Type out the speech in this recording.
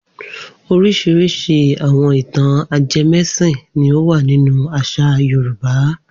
Oríṣiríṣi àwọn ìtàn ajẹmẹ́sìn ni ó wà nínú àṣà Yorùbá.